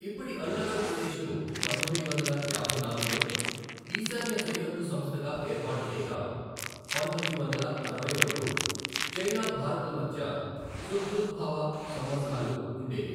ఇప్పటి అరుణాచల్ ప్రదేశ్ను పంతొమ్మిది వందల యాభై నాలుగులో ఈశాన్య సరిహద్దు సంస్థగా ఏర్పాటు చేయగా, పంతొమ్మిది వందల అరవై వరకు చైనా భారత్ల మధ్య సుహృద్భావ సంబంధాలు ఉండేవి.